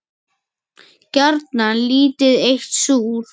Gjarnan lítið eitt súr.